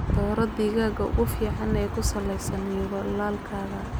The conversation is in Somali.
Dooro digaagga ugu fiican ee ku saleysan yoolalkaaga.